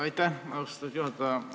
Aitäh, austatud juhataja!